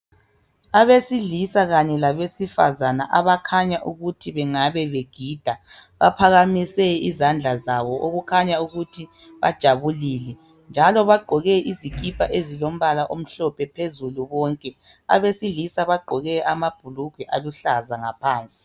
Abesilisa Kanye labesifazana abakhanya ukuthi bengabe begida baphakamise izandla zabo okukhanya ukuba bajabulile njalo bagqoke izikipa ezilombala omhlophe phezulu bonke. Abesilisa bagqoke amabhulugwe aluhlaza ngaphansi.